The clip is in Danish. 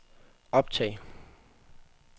optag